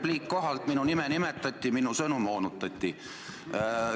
Repliik kohalt: minu nime nimetati ja minu sõnu moonutati.